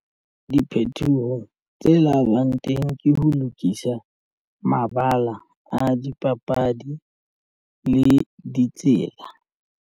Diphethoho tse labang teng ke ho lokisa mabala a dipapadi le ditsela.